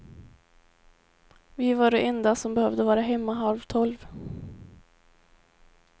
Vi var de enda som behövde vara hemma halv tolv.